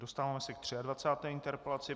Dostáváme se k 23. interpelaci.